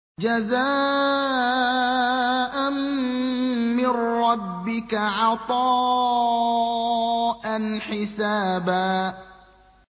جَزَاءً مِّن رَّبِّكَ عَطَاءً حِسَابًا